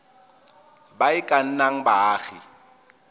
ba e ka nnang baagi